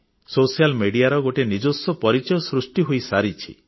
ସାମାଜିକ ଗଣମାଧ୍ୟମର ଗୋଟିଏ ନିଜସ୍ୱ ପରିଚୟ ସୃଷ୍ଟି ହୋଇସାରିଛି